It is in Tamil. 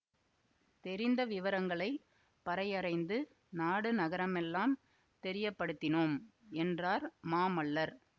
தெரிந்த விவரங்களை பறையறைந்து நாடு நகரமெல்லாம் தெரியப்படுத்தினோம் என்றார் மாமல்லர்